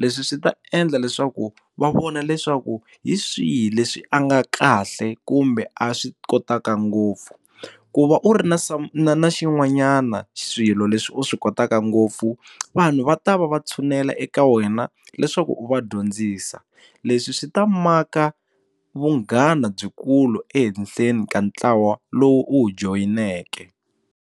leswi swi ta endla leswaku va vona leswaku hi swihi leswi a nga kahle kumbe a swi kotaka ngopfu ku va u ri na na xin'wanyana swilo leswi u swi kotaka ngopfu vanhu va ta va va tshunela eka wena leswaku u va dyondzisa leswi swi ta maka vunghana byikulu ehenhleni ka ntlawa lowu u wu joyineke.